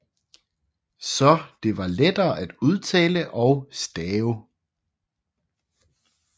Så det var lettere at udtale og stave